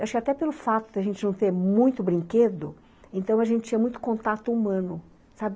Acho que até pelo fato de a gente não ter muito brinquedo, então a gente tinha muito contato humano, sabe.